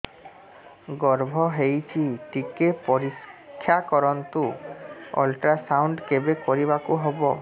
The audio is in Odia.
ଗର୍ଭ ହେଇଚି ଟିକେ ପରିକ୍ଷା କରନ୍ତୁ ଅଲଟ୍ରାସାଉଣ୍ଡ କେବେ କରିବାକୁ ହବ